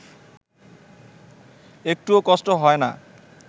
একটুও কষ্ট হয় না